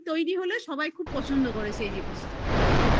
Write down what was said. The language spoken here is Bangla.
তৈরী হলে সবাই খুব পছন্দ করে সে জিনিসটা